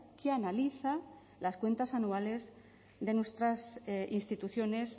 que analiza las cuentas anuales de nuestras instituciones